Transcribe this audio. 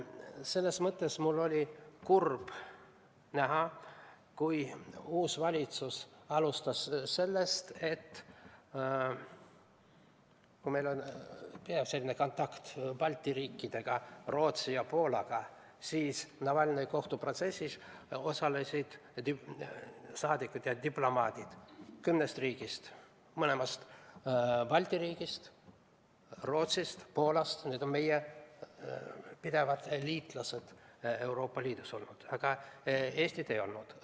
Selles mõttes oli mul kurb näha, kui uus valitsus alustas sellest, et Navalnõi kohtuprotsessis osalesid saadikud ja diplomaadid kümnest riigist, sh kahest Balti riigist, Rootsist ja Poolast, need on olnud meie pidevad liitlased Euroopa Liidus, aga Eestit ei olnud.